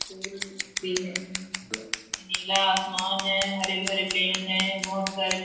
फूल भी हैं नीला आसामन है हरे-भरे पेड़ हैं बहोत सारे--